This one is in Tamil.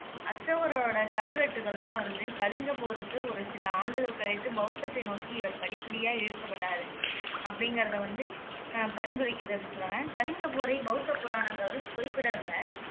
அசோகரோட கல்வெட்டுகள் எல்லாம் வந்து கலிங்கப் போருக்கு ஒரு சில ஆண்டுகள் கழித்து, பௌத்தத்தை நோக்கி இவர் படிப்படியா இழுக்கப்பட்டாரு அப்படிங்குறதை வந்து பரிந்துரைக்கிது அப்படின்னு சொல்றாங்க. கலிங்கப் போரை பௌத்த புராணங்கள் குறிப்பிடல.